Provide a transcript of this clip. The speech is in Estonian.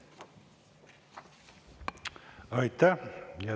Aitäh!